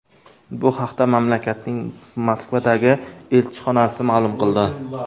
Bu haqda mamlakatning Moskvadagi elchixonasi ma’lum qildi .